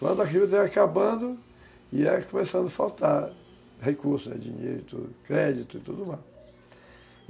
Quando aquilo estava acabando, ia começando a faltar recursos, dinheiro, tudo, crédito e tudo mais.